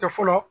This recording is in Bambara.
Kɛ fɔlɔ